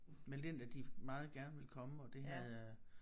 Meldt ind at de meget gerne ville komme og havde øh